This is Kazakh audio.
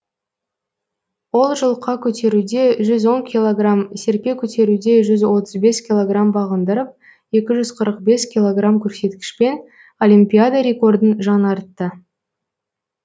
ол жұлқа көтеруде жүз он килограмм серпе көтеруде жүз отыз бес килограмм бағындырып екі жүз қырық бес килограмм көрсеткішпен олимпиада рекордын жаңартты